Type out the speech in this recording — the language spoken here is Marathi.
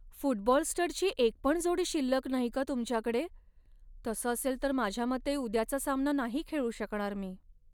फुटबॉल स्टडची एकपण जोडी शिल्लक नाही का तुमच्याकडे? तसं असेल तर माझ्या मते उद्याचा सामना नाही खेळू शकणार मी.